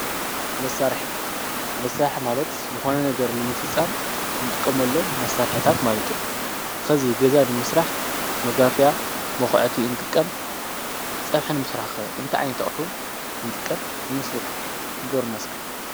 መሳርሒ መሳርሒ ማለት ዝኮነ ነገር ንምፍፃም እንጥቀመሎም መሳርሕታት ማለት እዮም። ከዚ ገዛ ንምስራሕ መጋፍያ መኩዐቲ ንጥቀም። ፀብሒ ንምስራሕ እንታይ ዓይነት ኣቁሑ ንጥቀም ይመስለኩም ንገሩና እስከ?